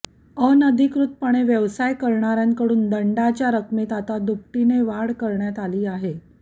अनधिकृतपणे व्यवसाय करणार्याकडून दंडाच्या रकमेत आता दुपटीने वाढ करण्यात आली आहे